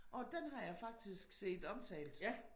Åh den har jeg faktisk set omtalt